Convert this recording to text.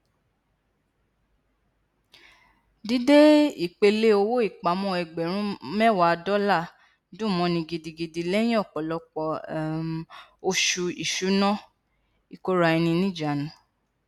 dídé ìpele owó ìpamọọ ẹgbẹrún mẹwàá dọlà dùn mọọn ni gidigidi lẹyìn ọpọlọpọ um oṣù ìṣúná ìkóraẹniníjánu